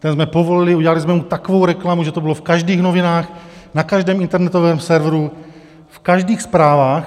Tu jsme povolili, udělali jsme mu takovou reklamu, že to bylo v každých novinách, na každém internetovém serveru, v každých zprávách.